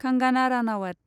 Kangana Ranaut